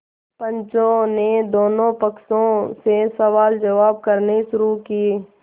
पंचों ने दोनों पक्षों से सवालजवाब करने शुरू किये